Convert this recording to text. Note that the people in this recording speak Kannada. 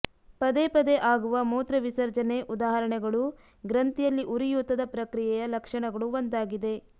ಪದೇಪದೇ ಆಗುವ ಮೂತ್ರವಿಸರ್ಜನೆ ಉದಾಹರಣೆಗಳು ಗ್ರಂಥಿಯಲ್ಲಿ ಉರಿಯೂತದ ಪ್ರಕ್ರಿಯೆಯ ಲಕ್ಷಣಗಳು ಒಂದಾಗಿದೆ